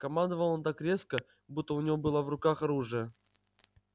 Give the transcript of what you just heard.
командовал он так резко будто у него было в руках оружие